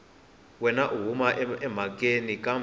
wana u huma emhakeni kambe